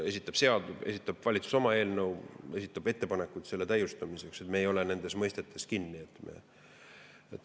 Kas esitab valitsus oma eelnõu või esitab ta ettepanekuid selle eelnõu täiustamiseks – me ei ole nendes mõistetes kinni.